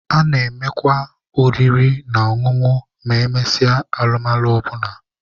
A na-enwekwa oriri na ọṅụṅụ ma emesịa alụmalụ ọ bụla.